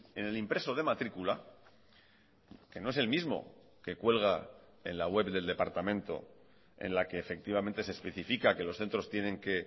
en el impreso de matrícula que no es el mismo que cuelga en la web del departamento en la que efectivamente se especifica que los centros tienen que